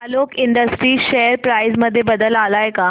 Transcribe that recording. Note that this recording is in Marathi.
आलोक इंडस्ट्रीज शेअर प्राइस मध्ये बदल आलाय का